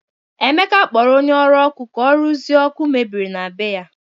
Emeka kpọrọ onye ọrụ ọkụ ka ọrụzie ọkụ mebiri na bé ya.